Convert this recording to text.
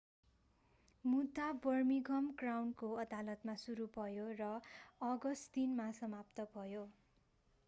मुद्दा बर्मिंघम क्राउनको अदालतमा सुरु भयो र अगस्ट3 मा समाप्त भयो